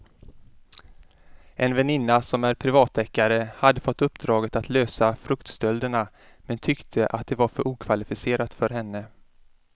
En väninna som är privatdeckare hade fått uppdraget att lösa fruktstölderna men tyckte att det var för okvalificerat för henne.